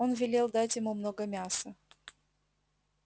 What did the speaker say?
он велел дать ему много мяса